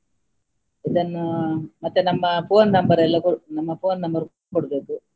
ಇದನ್ನು ಮತ್ತೆ ನಮ್ಮ phone number ಎಲ್ಲ ಕೊಡ್~ ನಮ್ಮ phone number ಕೊಡ್ಬೇಕು.